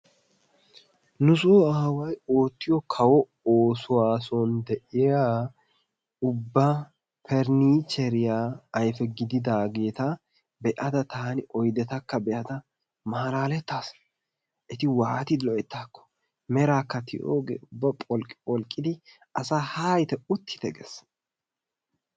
Nu sooner away ottiyo kawo ossuwasohan de'iyaa ubba farnijeriyaa ayife gididagettaa be'ada tanni oydettaakka be'ada malalettaas etti wattidi loytaakko merakka tiyoge ubbaa pholqi pholqiddi asaa natta hayitte utittee gees.